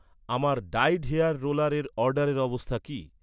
আমার dyed hair রোলারের অর্ডারের অবস্থা কি?